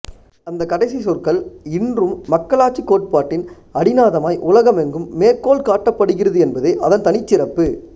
அந்தக் கடைசிச் சொற்கள் இன்றும் மக்களாட்சிக் கோட்பாட்டின் அடிநாதமாய் உலகெங்கும் மேற்கோள் காட்டப்படுகிறது என்பதே அதன் தனிச்சிறப்பு